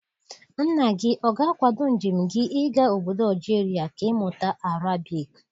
Nna gị ọ ga-akwado njem gị ịga ọbọdọ Algeria ka ị mụta Arabic?